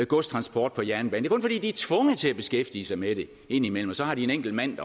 godstransport på jernbane det er kun fordi de er tvunget til at beskæftige sig med det indimellem og så har de en enkelt mand